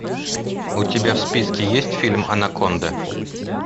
у тебя в списке есть фильм анаконда